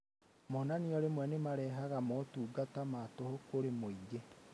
Monanio rĩmwe nĩmaheanaga motungata matũhũ kũrĩ mũingĩ